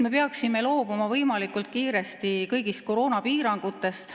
Me peaksime võimalikult kiiresti loobuma kõigist koroonapiirangutest.